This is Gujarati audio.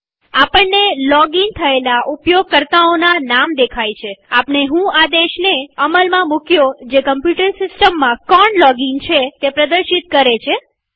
આપણને લોગીન થયેલા ઉપયોગકર્તાઓના નામ દેખાય છેઆપણે વ્હો આદેશને અમલમાં મુક્યો જે કમ્પ્યુટર સિસ્ટમમાં કોણ લોગીન છે તે પ્રદર્શિત છે